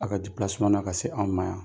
A' ka na ka se an' ma yan.